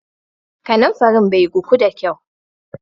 Kananfarin bai guku da kyau.